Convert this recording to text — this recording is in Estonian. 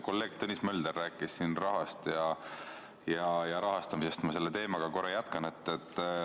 Kolleeg Tõnis Mölder rääkis siin rahast ja rahastamisest, ma selle teemaga jätkan.